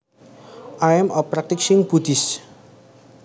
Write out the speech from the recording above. I am a practicing Buddhist